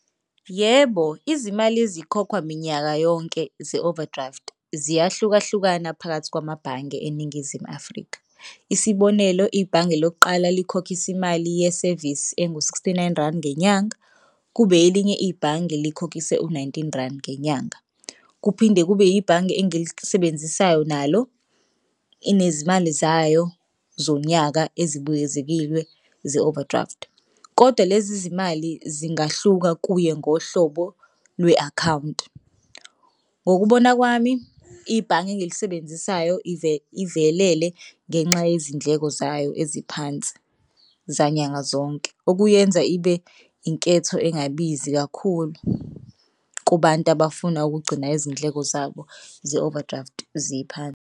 Yebo, izimali ezikhokhwa minyaka yonke ze-overdraft ziyahlukahlukana phakathi kwamabhange eNingizimu Afrika. Isibonelo, ibhange lokuqala likhokhisa imali yesevisi engu-sixty-nine rand ngenyanga, kube elinye ibhange likhokhise u-nineteen rand ngenyanga. Kuphinde kube ibhange engilisebenzisayo nalo inezimali zayo zonyaka ezibuyezekilwe ze-overdraft kodwa lezi zimali zingahluka kuye ngohlobo lwe-akhawunti. Ngokubona kwami ibhange engilisebenzisayo ivelele ngenxa yezindleko zayo eziphansi zanyanga zonke okuyenza ibe inketho engabizi kakhulu kubantu abafuna ukugcina izindleko zabo ze-overdraft ziphansi.